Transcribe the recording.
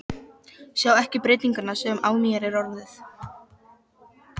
Sjá ekki breytinguna sem á mér er orðin.